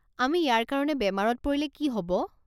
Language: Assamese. আমি ইয়াৰ কাৰণে বেমাৰত পৰিলে কি হ'ব?